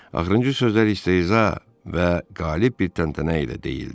Axırıncı sözlər isə iza və qalib bir təntənə ilə deyildi.